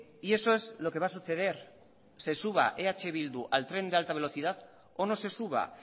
y eso es lo que va a suceder se suba eh bildu al tren de alta velocidad o no se suba